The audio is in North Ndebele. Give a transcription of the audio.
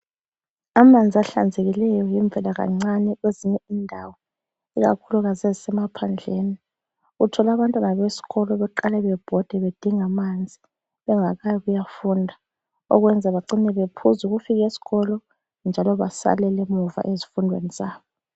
Amanzi ahlanzekileyo yimvelakancane kwezinye indawo, ikakhulukazi ezisemaphandleni. Uthola abantwana besikolo beqale bebhode bedinga amanzi bengakayifunda okwenza bacine bephuza ukufika esikolo njalo basalele emuva ngezifundo zabo.